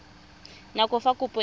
nako ya fa kopo e